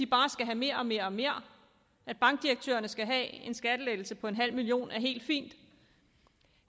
bare skal have mere og mere og mere at bankdirektørerne skal have en skattelettelse på en halv million er helt fint